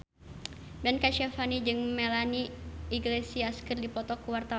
Ben Kasyafani jeung Melanie Iglesias keur dipoto ku wartawan